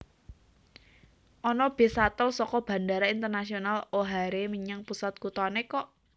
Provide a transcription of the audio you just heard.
Ono bis shuttle soko Bandara Internasional O'Hare menyang pusat kutone kok